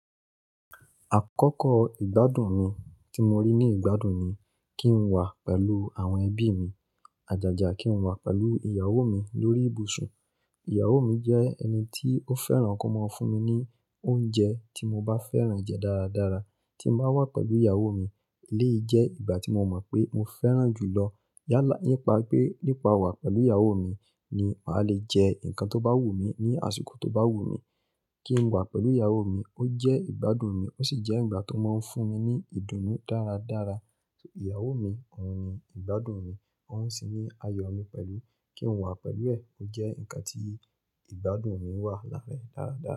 Àkọ́kọ́ ìgbádùn mi tí mo rí ní ìgbádùn ni kí n wà pẹ̀lú àwọn ẹbí mi, àjàjà kí n wà pẹ̀lú ìyàwó mi lórí ìbùsùn. Ìyàwó mi jẹ́ ẹni tí ó fẹ́ràn kí ó máa ń fún mi ní oúnjẹ tí mo bá fẹ́ràn jẹ dáradára. Tí n bá wà pẹ̀lú ìyáwo mi, eleyi je ìgbà tí mo moo pé mo fẹ́ràn jù lọ. Yálà, nípa pé nípa wà pẹ̀lú ìyáwo mi ni màá le jẹ nǹkan tó bá wù mí ní àsìkò tó bá wù mí. Kí n wà pẹ̀lú ìyàwó mi ó jẹ́ ìgbádùn mi, ó sì jẹ́ ìgbà tó máa ń fún mi ní ìdùnnú dáradára. Ìyáwo mi òun ni ìgbádùn mi, òun sì ní ayọ̀ mi pẹ̀lú. Kí n wà pẹ̀lú ẹ̀ ó jẹ́ ǹkan tí ìgbádùn mi wà láàára e dáradára.